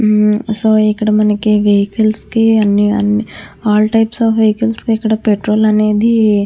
ఉమ్మ్ సో మనకి ఇక్కడ వెహికల్స్ కి ఆల్ టైప్స్ ఆఫ్ వెహికల్స్ కి ఇక్కడ పెట్రోల్ అనేది.